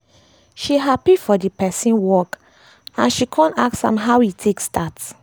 she happy for d person work and she kon ask am how e take start